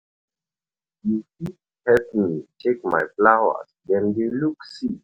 You fit help me help me check my flowers, dem dey look sick.